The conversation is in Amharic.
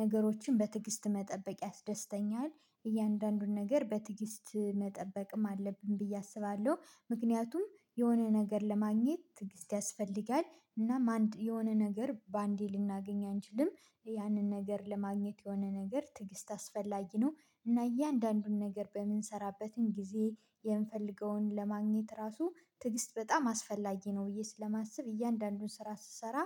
ነገሮችን በትዕግስት መጠበቅ ያስደስተኛል። እያንዳንዱን ነገር በትግስት መጠበቅም አለብን ብዬ አስባለሁ ምክንያቱም የሆነ ነገር ለማግኘት ትግስት ያስፈልጋል እናም አንድ የሆነ ነገር በአንዴ ልናገኝ አንችልም ያንን ነገር ለማግኘት የሆነ ነገር ትዕግስት አስፈላጊ ነው። እና እያንዳንዱን ነገር በምንሰራበትም ጊዜ የምንፈልገውን ለማግኘት ራሱ ትዕግስት በጣም አስፈላጊ ነው ብዬ ስለማስብ እያንዳንዱን ስራ ስሰራ